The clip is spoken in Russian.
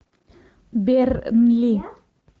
бернли